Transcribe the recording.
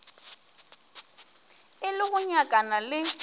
e le go nyakana le